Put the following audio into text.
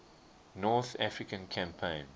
north african campaign